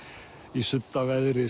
í